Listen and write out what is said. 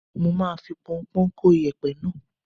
Mo máa fi pọnpọ́ń kó iyẹ̀pẹ̀ náà.